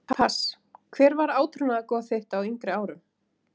pass Hver var átrúnaðargoð þitt á yngri árum?